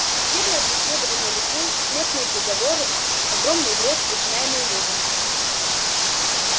судебное преследование людей смертные приговоры огромный вред причиняемый людям